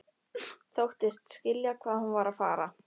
Þóttist skilja hvað hún var að fara.